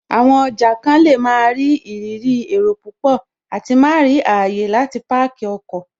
Àwọn ọjà kan lè máa rí ìrírí èrò púpọ̀ àti má rí ààyè láti páàkì ọkọ̀